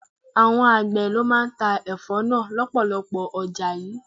Àwọn àgbè ló máa ń ta Ẹ̀fọ́ náà lọpọlọpọ ọjà yìí.